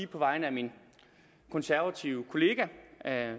på vegne af min konservative kollega